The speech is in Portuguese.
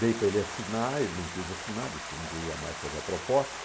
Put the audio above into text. Dei para ele assinar, ele não quis assinar, disse que não queria mais fazer a proposta.